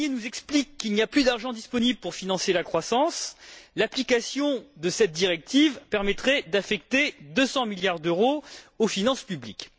Barnier nous explique qu'il n'y a plus d'argent disponible pour financer la croissance, l'application de cette directive permettrait d'affecter 200 milliards d'euros aux finances publiques.